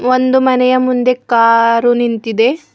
ಒಂದು ಮನೆಯ ಮುಂದೆ ಕಾರು ನಿಂತಿದೆ.